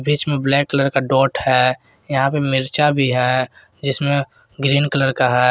इसमें black colour का dot है यहां पे मिर्चा भी है जिसमें ग्रीन कलर का है।